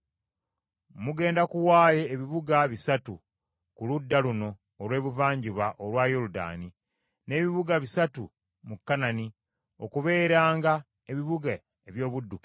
Mugenda kuwaayo ebibuga bisatu ku ludda luno olw’ebuvanjuba olwa Yoludaani, n’ebibuga bisatu mu Kanani, okubeeranga ebibuga eby’obuddukiro.